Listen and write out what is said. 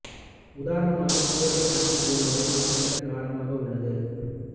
உதாரணமாக sodium acetate ஒரு வலிமை குறைந்த காரமாக உள்ளது